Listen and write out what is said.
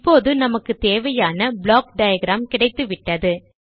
இப்போது நமக்கு தேவையான ப்ளாக் டயாகிராம் கிடைத்துவிட்டது